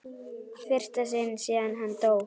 fyrsta sinn síðan hann dó.